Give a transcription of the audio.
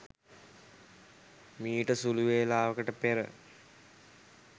මීට සුළු වේලාවකට පෙර